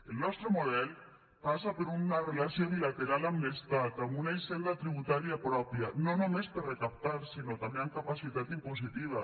el nostre model passa per una relació bilateral amb l’estat amb una hisenda tributària pròpia no només per recaptar sinó també amb capacitat impositiva